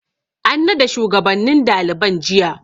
An nada shugabannin daliban jiya.